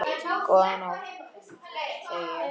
Góða nótt, segi ég.